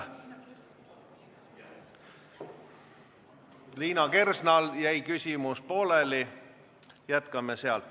Liina Kersnal jäi küsimuse esitamine pooleli, jätkame sealt.